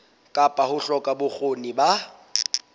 kapa ho hloka bokgoni ba